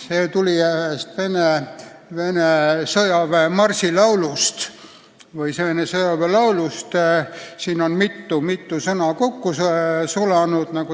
See tuli ühest laulust, mida Nõukogude sõdurid tihti laulsid.